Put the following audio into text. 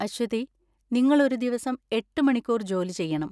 അശ്വതി, നിങ്ങൾ ഒരു ദിവസം എട്ട് മണിക്കൂർ ജോലി ചെയ്യണം.